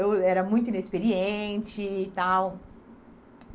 Eu era muito inexperiente e tal.